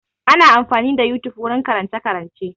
Ana amfani da yotube wurin karance-karance.